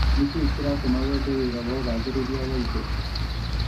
Nĩkĩĩ kĩratũma wende wĩra wa ũgathĩrĩria wa indo